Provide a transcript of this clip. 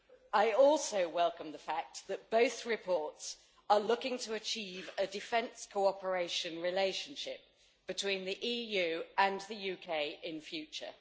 I also welcome the fact that both reports are looking to achieve a defence cooperation relationship between the EU and the UK in future.